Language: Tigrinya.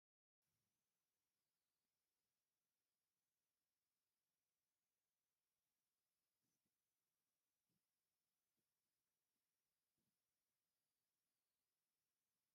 እዛ ጽብቕቲ ዕምባባ ቀይሕን ጻዕዳን ዕምባባታት ኣለዋ። ኣብ ማእከሉ ብጫ ስታመን እውን ኣለዎ። እዛ ዕምባባ እንታይ ዓይነት ኩነታት ኣየር እያ ትፈቱ?